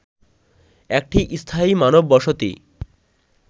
একটি স্থায়ী মানববসতি